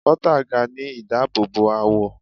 Bota ga ni idaabobo awọ